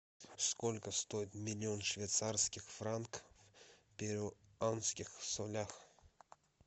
сколько стоит миллион швейцарских франков в перуанских солях